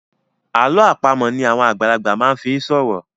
àlọ́ àpamọ̀ ni àwọn àgbààgbà máa ńfi sọrọ